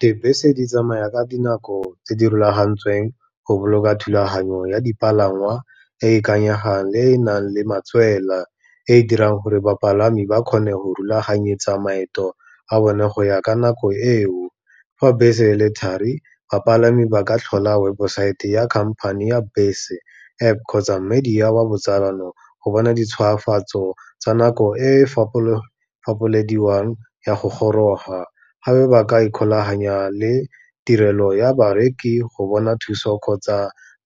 Dibese di tsamaya ka dinako tse di rulagantsweng, go boloka thulaganyo ya dipalangwa e e ikanyegang le e e nang le matswela, e e dirang gore bapalami ba kgone go rulaganyetsa maeto a bone go ya ka nako eo. Fa bese le thari, bapalami ba ka tlhola websaete ya khamphane ya bese, App kgotsa mediya wa botsalano, go bona di tshwafatso tsa nako e fapolediwang ya go goroga. Gapa ba ka ikgolaganya le tirelo ya bareki go bona thuso kgotsa